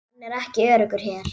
Hann er ekki öruggur hér